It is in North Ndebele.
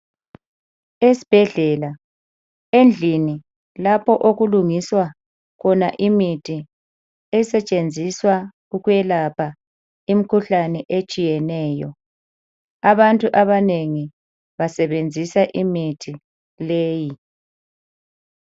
Esibhedlela endlini lapho okulungiswa khona imithi esetshenziswa ukwelapha imkhuhlane etshiyeneyo, abantu abanengi basebenzisa imithi leyi.